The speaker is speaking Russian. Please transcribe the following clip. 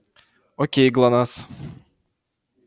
окей глонассс